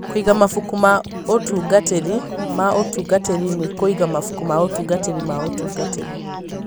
Kũiga Mabuku ma Ũtungatĩri ma Ũtungatĩri na Kũiga Mabuku ma Ũtungatĩri ma Ũtungatĩri: